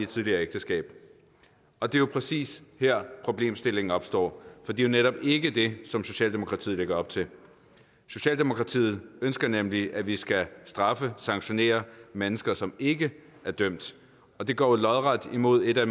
tidligere ægteskab og det er præcis her problemstillingen opstår for det er netop ikke det som socialdemokratiet lægger op til socialdemokratiet ønsker nemlig at vi skal straffe sanktionere mennesker som ikke er dømt og det går jo lodret imod et af